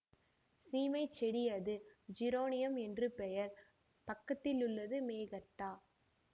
சீமைச்செடி அது ஜிரேனியம் என்று பெயர் பக்கத்தில் உள்ளது மெகர்த்தா